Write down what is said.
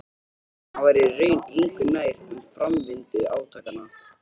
Að hann væri í raun engu nær um framvindu átakanna.